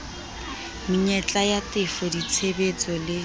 menyetla ya tefo ditshehetso le